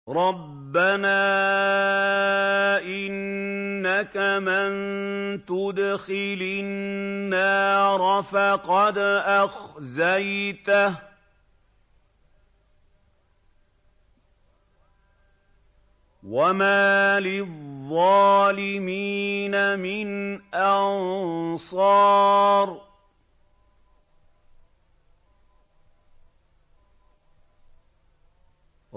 رَبَّنَا إِنَّكَ مَن تُدْخِلِ النَّارَ فَقَدْ أَخْزَيْتَهُ ۖ وَمَا لِلظَّالِمِينَ مِنْ أَنصَارٍ